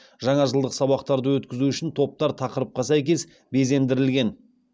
жаңа жылдық сабақтарды өткізу үшін топтар тақырыпқа сәйкес безендірілген